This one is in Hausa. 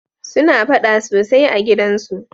suna faɗa sosai a gidan su